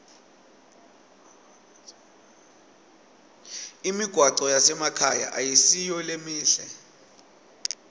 imigwaco yasemakhaya ayisiyo lemihle